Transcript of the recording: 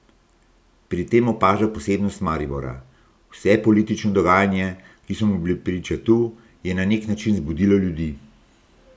Pri tem opaža posebnost Maribora: "Vse politično dogajanje, ki so mu bili priča tu, je na nek način zbudilo ljudi.